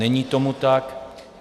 Není tomu tak.